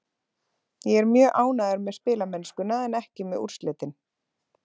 Ég er mjög ánægður með spilamennskuna en ekki með úrslitin.